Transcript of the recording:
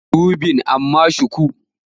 Zan miki wibin amma shuku.